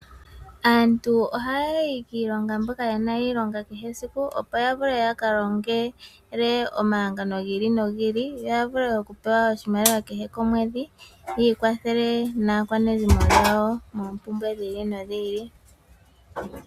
Aantu ohayayi kiilonga, mboka yena iilonga yakehe esiku, opo yavule yaka longele omahangano gi ili nogi ili, yo yavule okupewa oshimaliwa kehe komwedhi, yi ikwathele naakwanezimo yawo moompumbwe dhi ili no dhi ili.